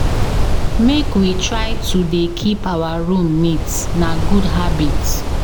Make we try to dey keep our room neat, na good habit.